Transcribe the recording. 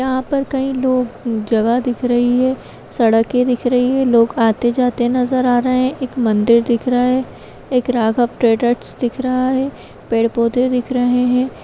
यहाँ पर कई लोग अ जगह दिख रही है सड़कें दिख रही हैं लोग आते जाते नजर आ रहे हैं एक मंदिर दिख रहा है एक राघव ट्रैडरस दिख रहा है पेड़ पौधे दिख रहे हैं।